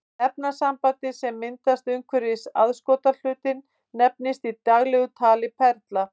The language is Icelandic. Efnasambandið sem myndast umhverfis aðskotahlutinn nefnist í daglegu tali perla.